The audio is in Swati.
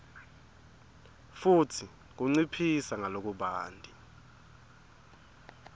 futsi kunciphisa ngalokubanti